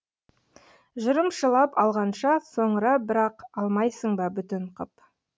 жырымшылап алғанша соңыра бір ақ алмайсың ба бүтін қып